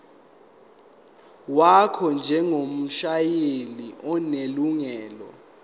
wakho njengomshayeli onelungelo